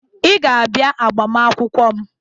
Ị ga-abịa agbamaakwụkwọ m